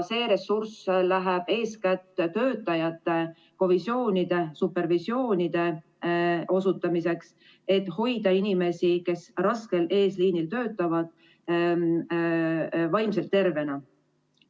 See ressurss läheb eeskätt töötajate kovisiooni- ja supervisiooniteenuse osutamiseks, et hoida inimesi, kes raskel eesliinil töötavad, vaimselt tervena.